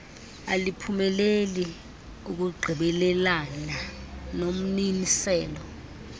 aliphumeleli ukungqinelana nommiselo